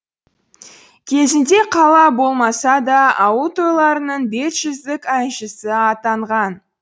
кезінде қала болмаса да ауыл тойларының бетжүздік әншісі атанған